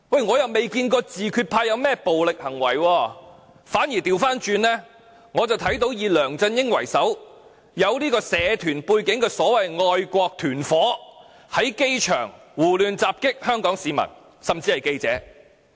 我卻未見過自決派有任何暴力行為；相反，我看到以梁振英為首並有社團背景的所謂"愛國團夥"，在機場襲擊香港市民，甚至記者。